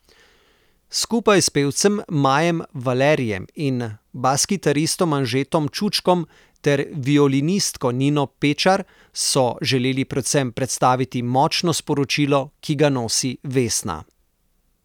Skupaj s pevcem Majem Valerijem in baskitaristom Anžetom Čučkom ter violinistko Nino Pečar so želeli predvsem predstaviti močno sporočilo, ki ga nosi Vesna.